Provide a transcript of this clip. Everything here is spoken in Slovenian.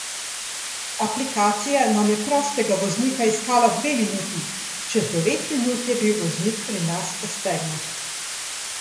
Aplikacija nam je prostega voznika iskala dve minuti, čez devet minut je bil voznik pri nas v Stegnah.